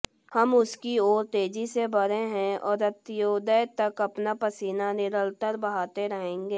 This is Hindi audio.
हम उसकी ओर तेजी से बढ़े है और अंत्योदय तक अपना पसीना निरंतर बहाते रहेंगे